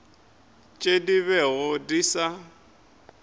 tšeo di bego di sa